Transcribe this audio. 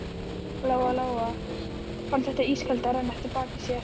Lóa Lóa fann þetta ískalda renna eftir bakinu á sér.